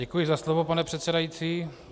Děkuji za slovo, pane předsedající.